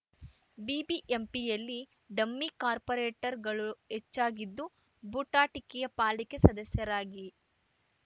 ಬಿಬಿಎಂಪಿಯಲ್ಲಿ dummy ಕಾರ್ಪೊರೇಟರ್‍ಗಳು ಹೆಚ್ಚಾಗಿದ್ದು ಬೂಟಾಟಿಕೆಯ ಪಾಲಿಕೆ ಸದಸ್ಯರಾಗಿ